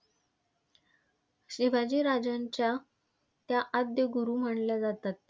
शिवाजी राजांच्या त्या आद्य गुरु मानल्या जातात.